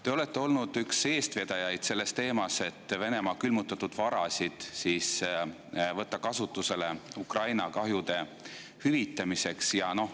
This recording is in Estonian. Te olete olnud üks eestvedajaid selles teemas, et Venemaa külmutatud varasid võtta kasutusele Ukraina kahjude hüvitamiseks.